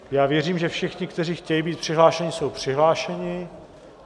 Já věřím, že všichni, kteří chtějí být přihlášeni, jsou přihlášeni.